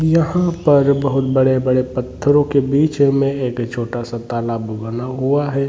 यहाँ पर बोहोत बड़े - बड़े पत्थरो के बिच में एक छोटासा तालाब बना हुआ है।